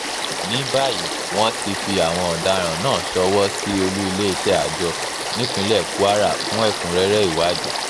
ní báyìí wọ́n ti fi àwọn ọ̀daràn náà ṣọwọ́ sí olú iléeṣẹ́ àjọ nípínlẹ̀ kwara fún ẹ̀kúnrẹ́rẹ́ ìwádìí